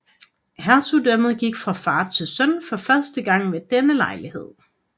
Hertugdømmet gik fra far til søn for første gang ved denne lejlighed